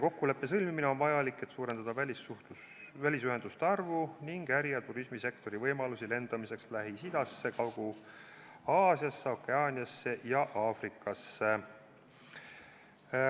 Kokkuleppe sõlmimine on vajalik, et suurendada välisliinide arvu ning äri- ja turismisektoris vajalikke võimalusi lennata Lähis-Idasse, Kagu-Aasiasse, Okeaaniasse ja Aafrikasse.